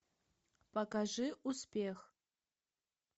покажи успех